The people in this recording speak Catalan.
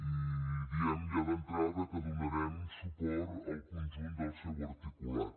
i diem ja d’entrada que donarem suport al conjunt del seu articulat